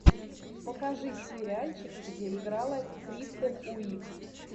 покажи сериальчики где играла кристен уик